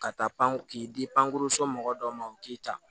Ka taa pan k'i di ankurunso mɔgɔ dɔ ma u k'i ta